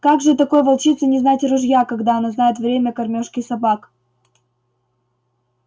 как же такой волчице не знать ружья когда она знает время кормёжки собак